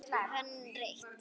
Hann reit